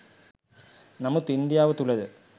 නමුත් ඉන්දියාව තුළ ද